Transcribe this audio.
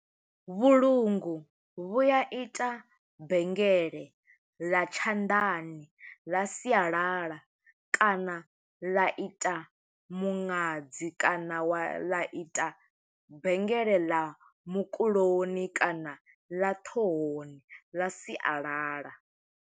Vhulungu vhu ya ita bengele ḽa tshanḓani ḽa sialala, kana ḽa ita muṅadzi, kana wa ḽa ita bengele ḽa mukuloni, kana ḽa ṱhohoni ḽa sialala.